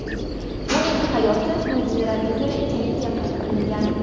Uning hayoti mo‘jizalarga to‘la ekanligi qayd qilingan.